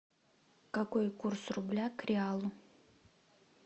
какой курс рубля к реалу